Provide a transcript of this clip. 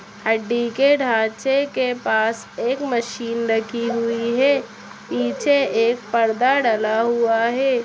हड्डी के ढांचे के पास एक मशीन रखी हुई है पीछे एक पर्दा डला हुआ है।